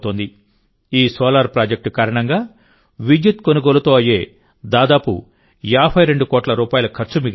ఈ solar project కారణంగా విద్యుత్ కొనుగోలుతో అయ్యే దాదాపు 52 కోట్ల రూపాయల ఖర్చు మిగిలింది